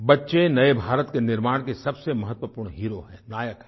बच्चे नए भारत के निर्माण के सबसे महत्वपूर्ण हेरो हैं नायक हैं